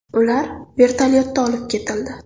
Ular vertolyotda olib ketildi.